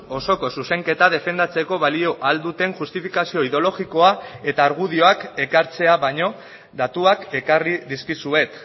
osoko zuzenketa defendatzeko balio ahal duten justifikazio ideologikoa eta argudioak ekartzea baino datuak ekarri dizkizuet